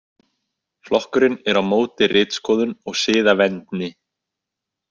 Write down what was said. Flokkurinn er á móti ritskoðun og siðavendni.